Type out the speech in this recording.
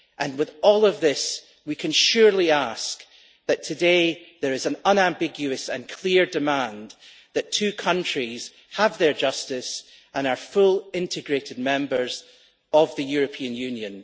With all of this, we can surely ask that today there is an unambiguous and clear demand that two countries have justice and are fully integrated Member States of the European Union.